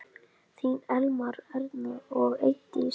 Þín Elmar, Erna og Eydís.